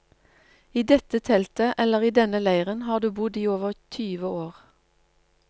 I dette teltet, eller i denne leiren har du bodd i over tyve år.